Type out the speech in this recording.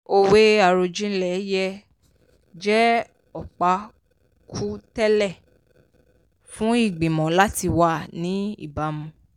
òwe àròjinlẹ̀ yẹ jẹ́ ọ̀pákùtẹ̀lẹ̀ fún ìgbìmọ̀ láti wà ní ìbámu.